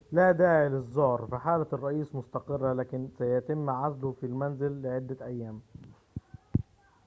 لا داعي للزعر فحالة الرئيس مستقرة ولكن سيتم عزله في المنزل لعدة أيام